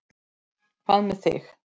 Hvað með þig.